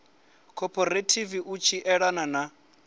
khophorethivi u tshi elana na